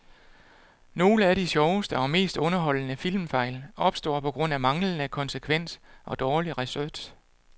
Nogle af de sjoveste og mest underholdende filmfejl opstår på grund af manglende konsekvens og dårlig research.